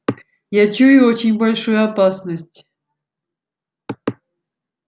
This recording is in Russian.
я чую очень большую опасность